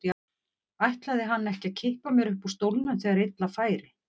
Ætlaði hann ekki að kippa mér upp úr stólnum þegar illa færi?